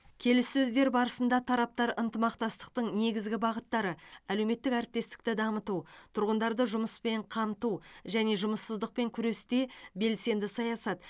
келіссөздер барысында тараптар ынтымақтастықтың негізгі бағыттары әлеуметтік әріптестікті дамыту тұрғындарды жұмыспен қамту және жұмыссыздықпен күресте белсенді саясат